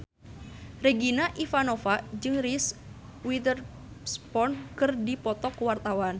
Regina Ivanova jeung Reese Witherspoon keur dipoto ku wartawan